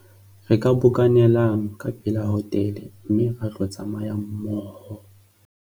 re ka bokanelang ka pela hotele mme ra tlo tsamayang mmoho